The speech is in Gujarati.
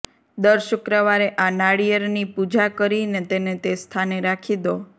દર શુક્રવારે આ નારિયેળની પૂજા કરીને તેને તે સ્થાને રાખી દો